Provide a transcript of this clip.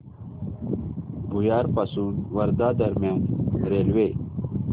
भुयार पासून वर्धा दरम्यान रेल्वे